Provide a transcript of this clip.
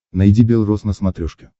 найди белрос на смотрешке